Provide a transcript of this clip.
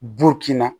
Dukin na